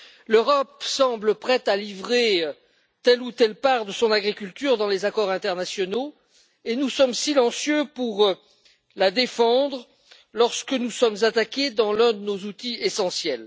L'Europe semble prête à livrer telle ou telle part de son agriculture dans les accords internationaux et nous sommes silencieux pour la défendre, lorsque nous sommes attaqués dans l'un de nos outils essentiels.